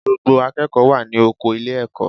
Gbogbo akẹ́kọ̀ọ́ wà ní oko ilé-ẹ̀kọ́